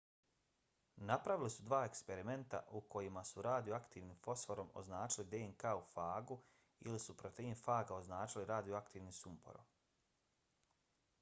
napravili su dva eksperimenta u kojima su radioaktivnim fosforom označili dnk u fagu ili su protein faga označili radioaktivnim sumporom